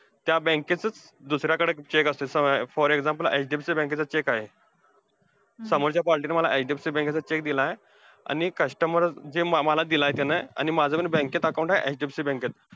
त्या bank चा चं दुसऱ्याकडे असतो, for example HDFC bank चा cheque आहे. समोरच्या party ने मला HDFC bank चा cheque दिलाय आणि customer जे आम्हांला दिलाय कि नाही आणि माझं कि नाय, bank मध्ये account आहे HDFC bank त.